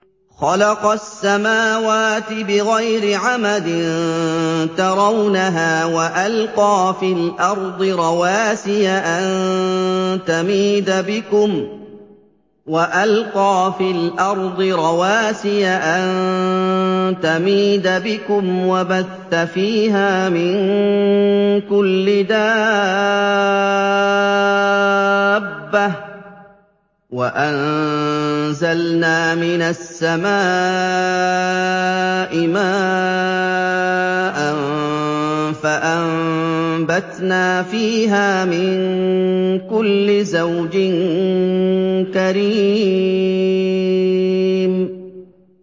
خَلَقَ السَّمَاوَاتِ بِغَيْرِ عَمَدٍ تَرَوْنَهَا ۖ وَأَلْقَىٰ فِي الْأَرْضِ رَوَاسِيَ أَن تَمِيدَ بِكُمْ وَبَثَّ فِيهَا مِن كُلِّ دَابَّةٍ ۚ وَأَنزَلْنَا مِنَ السَّمَاءِ مَاءً فَأَنبَتْنَا فِيهَا مِن كُلِّ زَوْجٍ كَرِيمٍ